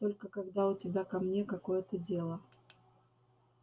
только когда у тебя ко мне какое-то дело